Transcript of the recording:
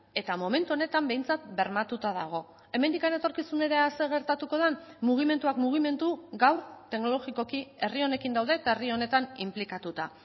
eta momentu honetan behintzat bermatuta dago hemendik etorkizunera zer gertatuko den mugimenduak mugimendu gaur teknologikoki herri honekin daude eta herri honetan inplikatuta